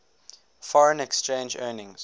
foreign exchange earnings